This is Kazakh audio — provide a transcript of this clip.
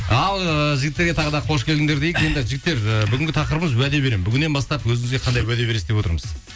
ал ііі жігіттерге тағы да қош келдіңдер дейік енді жігіттер і бүгінгі тақырыбымыз уәде беремін бүгіннен бастап өзіңізге қандай уәде бересіз деп отырмыз